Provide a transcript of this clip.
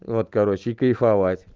вот короче и кайфовать